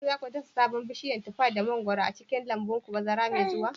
Shin za ku dasa sabon bishiyar tufar da mangwaron a cikin lambun ku bazara mai zuwa?